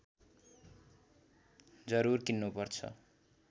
जरुर किन्नुपर्छ